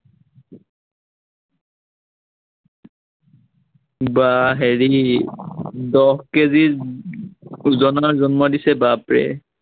বা হেৰি দহ কেজি উম ওজনৰ জন্ম দিছে, বাপৰে